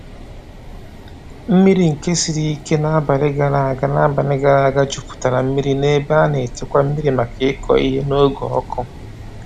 Mmiri nke siri ike n’abali gara aga n’abali gara aga jupụtara mmiri n’ebe a na-echekwa mmiri maka ịkụ ihe n’oge ọkụ.